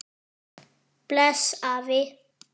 Bless afi.